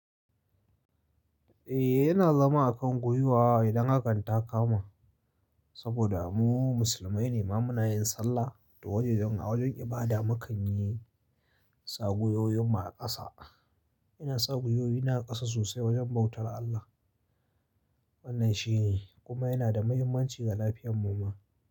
Eh yana zama a kan gwiwa idan hakan ta kama. Saboda mu musulmai ne, ma muna yin sallah da wajejen a wajen ibada mu kan yi sa guwowin mu a ƙasa. Ina saguyoyi na a ƙasa sosai wajen bautar Allah. Wannan shi ne kuma yana da mahimmanci ga lafiyar mu ma.